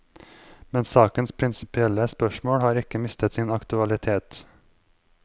Men sakens prinsipielle spørsmål har ikke mistet sin aktualitet.